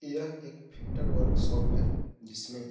यह एक filter workshop है जिसमे --